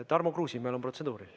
Tarmo Kruusimäel on protseduuriline.